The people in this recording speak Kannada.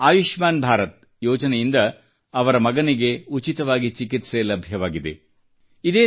ಆದರೆ ಆಯುಷ್ಮಾನ್ ಭಾರತ ಯೋಜನೆಯಿಂದ ಅವರ ಮಗನಿಗೆ ಉಚಿತವಾಗಿ ಚಿಕಿತ್ಸೆ ಲಭ್ಯವಾಗಿದೆ